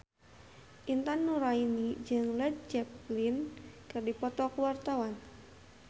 Intan Nuraini jeung Led Zeppelin keur dipoto ku wartawan